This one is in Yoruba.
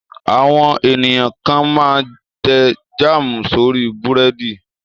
Àwọn ènìyàn kan máa tẹ́ jáámù sórí búrẹ́dì.